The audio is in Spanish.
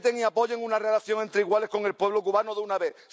Respeten y apoyen una relación entre iguales con el pueblo cubano de una vez.